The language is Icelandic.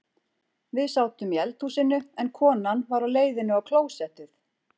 Við sátum í eldhúsinu en konan var á leiðinni á klósettið.